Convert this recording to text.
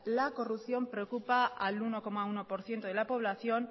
la corrupción preocupa al uno coma uno por ciento de la población